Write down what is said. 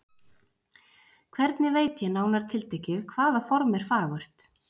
Hvernig veit ég, nánar tiltekið, hvaða form er fagurt?